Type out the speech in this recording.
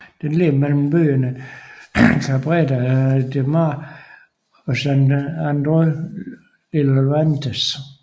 Den ligger mellem byerne Cabrera de Mar og Sant Andreu de Llavaneres